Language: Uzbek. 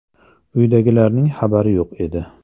Uydagilarning xabari yo‘q edi.